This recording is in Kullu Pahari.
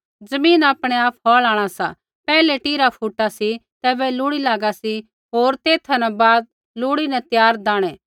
ज़मीन आपणै आप फ़ौल़ आंणा सा पैहलै टीरा फुटा सी तैबै लूड़ी लागा सी होर तेथा न बाद लूड़ी न त्यार दाणै